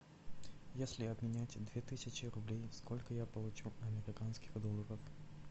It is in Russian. если обменять две тысячи рублей сколько я получу американских долларов